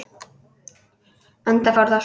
Enda fór það svo.